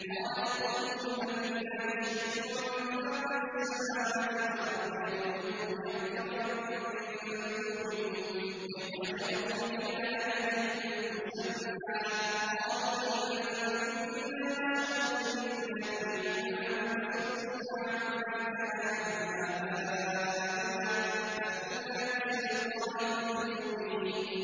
۞ قَالَتْ رُسُلُهُمْ أَفِي اللَّهِ شَكٌّ فَاطِرِ السَّمَاوَاتِ وَالْأَرْضِ ۖ يَدْعُوكُمْ لِيَغْفِرَ لَكُم مِّن ذُنُوبِكُمْ وَيُؤَخِّرَكُمْ إِلَىٰ أَجَلٍ مُّسَمًّى ۚ قَالُوا إِنْ أَنتُمْ إِلَّا بَشَرٌ مِّثْلُنَا تُرِيدُونَ أَن تَصُدُّونَا عَمَّا كَانَ يَعْبُدُ آبَاؤُنَا فَأْتُونَا بِسُلْطَانٍ مُّبِينٍ